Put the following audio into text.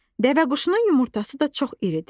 Dəvəquşunun yumurtası da çox iridir.